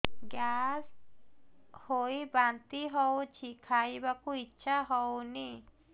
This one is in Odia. ଗ୍ୟାସ ହୋଇ ବାନ୍ତି ହଉଛି ଖାଇବାକୁ ଇଚ୍ଛା ହଉନି